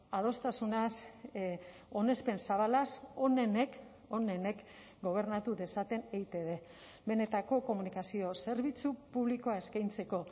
adostasunaz onespen zabalaz onenek onenek gobernatu dezaten eitb benetako komunikazio zerbitzu publikoa eskaintzeko